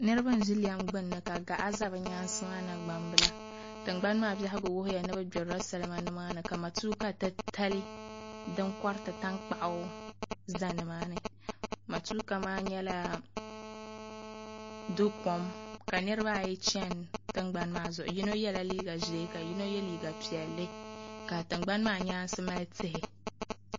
Niraba n ʒi lɛm gbunni ka gaɣa ʒɛ bi nyaangi ni gbambili tingbani maa biɛhagu wuhuya ni bi gbirila salima nimaani ka matuuka titali din koriti tankpaɣu ʒɛ nimaani matuuka maa nyɛla do kom ka nirabaayi chɛni tingbani maa zuɣu yino yɛla liiga ʒiɛ ka yino yɛ liiga piɛlli ka tingbani maa nyaansi mali tihi